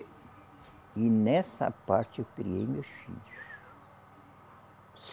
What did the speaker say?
E nessa parte eu criei meus filhos.